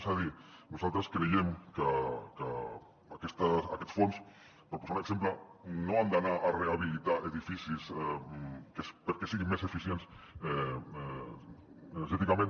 és a dir nosaltres creiem que aquests fons per posar un exemple no han d’anar a rehabilitar edificis perquè siguin més eficients energèticament